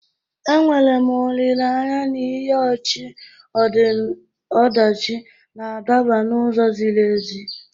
Enwere m olileanya na ihe ọchị-ọdachi na-adaba n'ụzọ ziri ezi.